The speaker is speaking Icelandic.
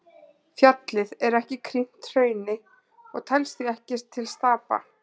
Fjallið er ekki krýnt hrauni og telst því ekki til stapa.